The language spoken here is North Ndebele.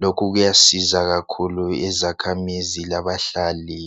lokhu kuyasiza kakhulu izakhamizi labahlali.